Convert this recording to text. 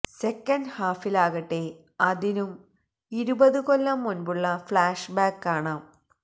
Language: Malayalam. സെക്കന്റ് ഹാഫിലാകട്ടെ അതിനും ഇരുപത് കൊല്ലം മുൻപുള്ള ഫ്ലാഷ് ബാക്ക് കാണാം